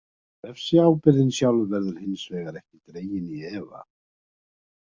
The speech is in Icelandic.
Refsiábyrgðin sjálf verður hins vegar ekki dregin í efa.